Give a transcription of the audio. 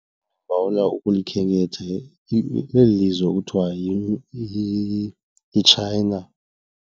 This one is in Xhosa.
Ndibawela ukulikhenketha eli lizwe kuthiwa yiChina.